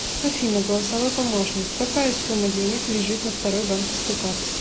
афина голосовой помощник какая сумма денег лежит на второй банковской карте